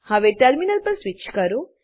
હવે ટર્મિનલ પર સ્વીચ કરો